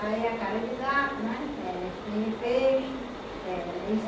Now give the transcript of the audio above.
Aí a cara de gato, não é, eh espinha de peixe. Eh